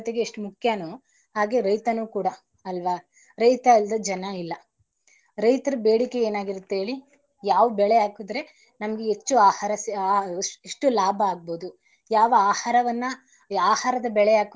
ಎಷ್ಟ ಮುಖ್ಯನೋ ಹಾಗೆ ರೈತನು ಕೂಡ ಅಲ್ವಾ ರೈತ ಇಲ್ದೇ ಜನ ಇಲ್ಲ. ರೈತರ ಬೇಡಿಕೆ ಏನಾಗಿರುತ್ತೆ ಹೇಳಿ ಯಾವ ಬೆಳೆ ಹಾಕುದ್ರೆ ನಮ್ಗೆ ಹೆಚ್ಚು ಆಹಾರ ಆ ಎಷ್ಟು ಲಾಭ ಆಗ್ಬೋದು ಯಾವ ಆಹಾರವನ್ನ ಆಹಾರದ ಬೆಳೆ ಹಾಕುದರೆ ನಮ್ಗೆ ಹೆಚ್ಚು ಲಾಭ ಸಿಗ್ಬೋದು ಅಂತ.